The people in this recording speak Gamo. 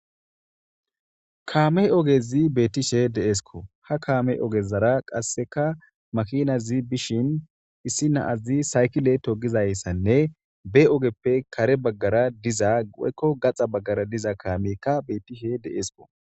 Kamme oggezi bettishe de'eskko ha kamme oggezara qasekka makkinay bishen issi na'azi saykkile toggizayisanne ba oggeppe kare baggara diza woyikko gaxxara bagara dizza kammeyikka bettish de'eskko